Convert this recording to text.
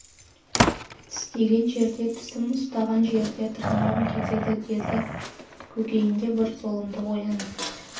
тістеген жерде тісім ұстаған жерде тырнағым кетеді деді көкейінде бір зұлымдық оянып